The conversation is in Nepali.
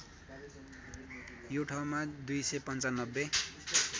यो ठाउँमा २९५